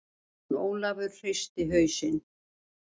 Jón Ólafur hristi hausinn.